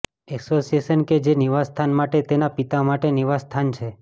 એસોસિએશનો કે જે નિવાસસ્થાન માટે તેના પિતા માટે નિવાસસ્થાન છે